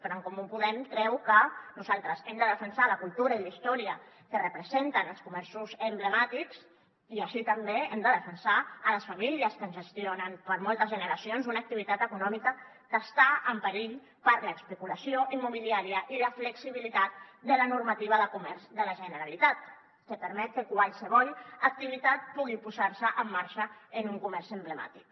però en comú podem creu que nosaltres hem de defensar la cultura i la història que representen els comerços emblemàtics i així també hem de defensar les famílies que gestionen per moltes generacions una activitat econòmica que està en perill per l’especulació immobiliària i la flexibilitat de la normativa de comerç de la generalitat que permet que qualsevol activitat pugui posar se en marxa en un comerç emblemàtic